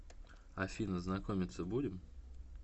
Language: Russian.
афина знакомиться будем